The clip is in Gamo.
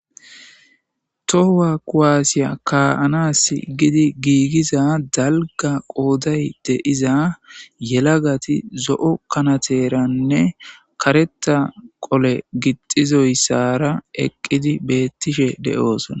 Tohowa kuwaasiya kaa7anas gidi giigiza dalga qooday de iza yelagati zo7o kanateranne kareta qole gixizoyssara eqqidi beettishe de7oosona